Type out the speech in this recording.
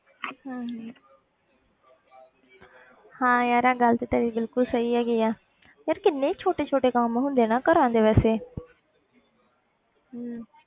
ਹਮ ਹਮ ਹਾਂ ਯਾਰ ਇਹ ਗੱਲ ਤੇ ਤੇਰੀ ਬਿਲਕੁਲ ਸਹੀ ਹੈਗੀ ਹੈ ਯਾਰ ਕਿੰਨੇ ਹੀ ਛੋਟੇ ਛੋਟੇ ਕੰਮ ਹੁੰਦੇ ਨਾ ਘਰਾਂ ਦੇ ਵੈਸੇ ਹਮ